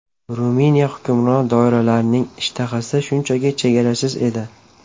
Ruminiya hukmron doiralarining ishtahasi shunchaki chegarasiz edi.